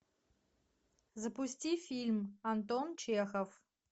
запусти фильм антон чехов